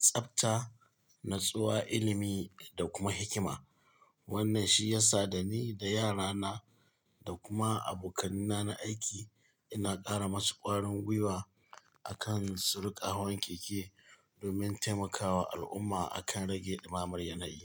tsabta, natsuwa, ilimi da kuma hikima. Wannan shi ya sa da ni da yara na da kuma abokanai na aiki ina ƙara masu ƙwarin gwiwa akan su ruƙa hawan keke domin taimakawa al'umma akan rage ɗimamar yanayi.